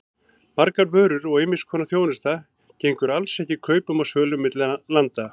Margar vörur og ýmiss konar þjónusta gengur alls ekki kaupum og sölu milli landa.